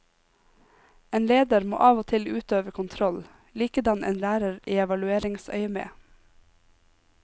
En leder må av og til utøve kontroll, likedan en lærer i evalueringsøyemed.